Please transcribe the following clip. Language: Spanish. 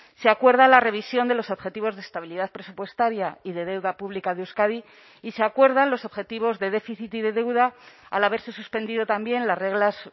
se acuerda la revisión de los objetivos de estabilidad presupuestaria y de deuda pública de euskadi y se acuerdan los objetivos de déficit y de deuda al haberse suspendido también las reglas